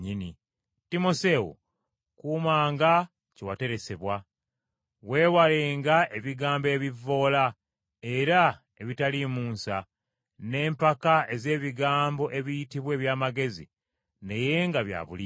Timoseewo, kuumanga kye wateresebwa. Weewalenga ebigambo ebivvoola, era ebitaliimu nsa, n’empaka ez’ebigambo ebiyitibwa eby’amagezi naye nga bya bulimba,